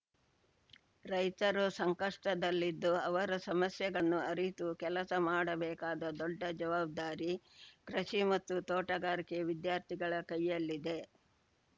ರೈತರು ಸಂಕಷ್ಟದಲ್ಲಿದ್ದು ಅವರ ಸಮಸ್ಯೆಗಳನ್ನು ಅರಿತು ಕೆಲಸ ಮಾಡಬೇಕಾದ ದೊಡ್ಡ ಜವಾಬ್ದಾರಿ ಕೃಷಿ ಮತ್ತು ತೋಟಗಾರಿಕೆ ವಿದ್ಯಾರ್ಥಿಗಳ ಕೈಯ್ಯಲ್ಲಿದೆ